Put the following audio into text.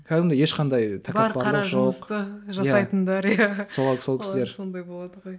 кәдімгідей ешқандай тәкаппарлық жоқ сол кісілер сондай болады ғой